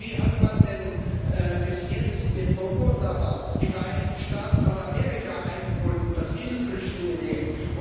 Wie hat man denn bis jetzt den Verursacher, die Vereinigten Staaten von Amerika, eingebunden, dass sie Flüchtlinge nehmen?